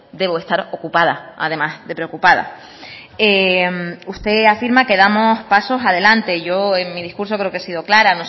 debo estar ocupada además de preocupada usted afirma que damos pasos adelante yo en mi discurso creo que he sido clara